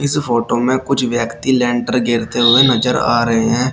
इस फोटो में कुछ व्यक्ति लेंटर गेरते हुए नजर आ रहे हैं।